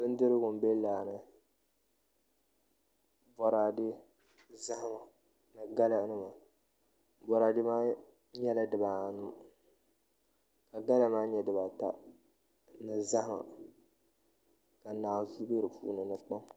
Nudirigu n bɛ laa ni boraadɛ ni zahama ni gala nima boraadɛ maa nyɛla dibaanu ka gala maa nyɛ dibaata ni zahama ka naanzuu bɛ di puuni ni kpam